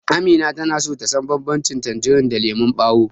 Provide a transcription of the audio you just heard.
Amina tana so ta san banbancin tanjirin da lemon ɓawo.